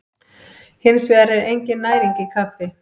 Hins vegar er engin næring í kaffi.